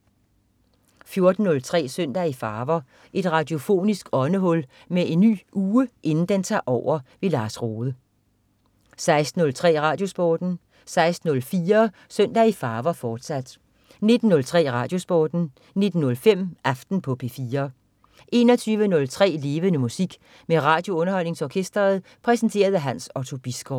14.03 Søndag i farver. Et radiofonisk åndehul inden en ny uge tager over. Lars Rohde 16.03 RadioSporten 16.04 Søndag i farver, fortsat 19.03 RadioSporten 19.05 Aften på P4 21.03 Levende Musik. Med RadioUnderholdningsOrkestret. Præsenteret af Hans Otto Bisgaard